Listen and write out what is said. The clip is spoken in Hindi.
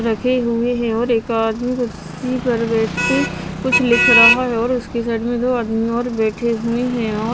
रखे हुए हैं और एक आदमी कुर्सी पर बैठ के कुछ लिख रहा है और उसके साइड में दो आदमी और बैठे हुए हैं और--